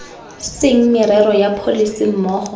seng merero ya pholese mmogo